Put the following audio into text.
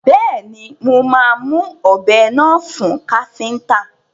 Bẹ́ẹ̀ni, mo máa mu ọ̀bẹ náà fún káfíntà.